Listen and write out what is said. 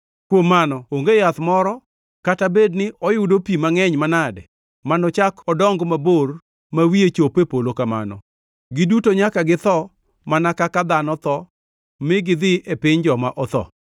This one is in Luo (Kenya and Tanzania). Kuom mano, onge yath moro kata bed ni oyudo pi mangʼeny manade manochak odong mabor ma wiye chop e polo kamano. Giduto nyaka githo mana kaka dhano tho mi gidhi e piny joma otho.